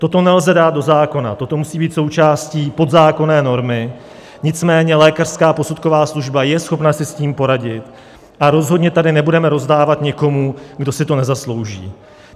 Toto nelze dát do zákona, toto musí být součástí podzákonné normy, nicméně lékařská posudková služba je schopna si s tím poradit a rozhodně tady nebudeme rozdávat někomu, kdo si to nezaslouží.